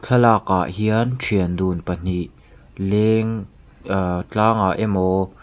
thlalak ah hian thian dun pahnih leng ah tlang ah emaw.